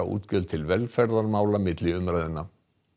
útgjöld til velferðarmála milli umræðna